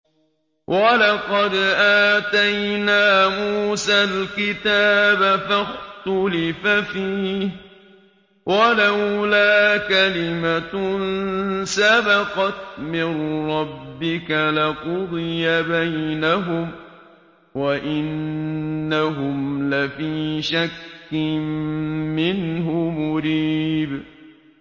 وَلَقَدْ آتَيْنَا مُوسَى الْكِتَابَ فَاخْتُلِفَ فِيهِ ۚ وَلَوْلَا كَلِمَةٌ سَبَقَتْ مِن رَّبِّكَ لَقُضِيَ بَيْنَهُمْ ۚ وَإِنَّهُمْ لَفِي شَكٍّ مِّنْهُ مُرِيبٍ